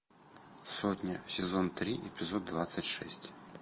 сотня сезон три эпизод двадцать шесть